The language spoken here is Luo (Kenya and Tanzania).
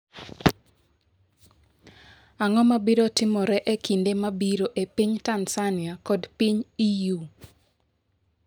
Ang'o ma biro timore e kinde mabiro e piny Tanzania kod piny EU?